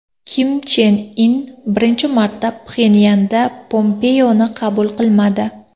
Kim Chen In birinchi marta Pxenyanda Pompeoni qabul qilmadi.